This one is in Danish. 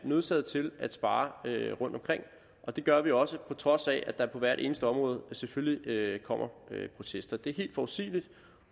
nødsaget til at spare rundtomkring og det gør vi også på trods af at der på hvert eneste område selvfølgelig kommer protester det er helt forudsigeligt